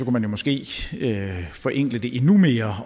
man måske forenkle det endnu mere